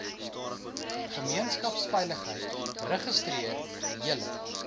gemeenskapsveiligheid registreer julle